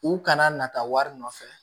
U kana na taa wari nɔfɛ